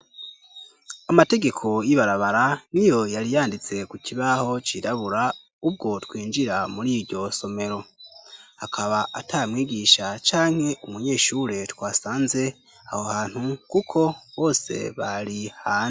Amategeko y'ibarabara niyo yari yanditse ku kibaho cirabura ubwo twinjira muri iryo somero. Akaba ata mwigisha canke umunyeshure twasanze aho hantu kuko bose bari hanze.